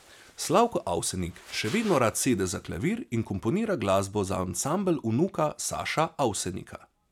Slavko Avsenik še vedno rad sede za klavir in komponira glasbo za ansambel vnuka Saša Avsenika.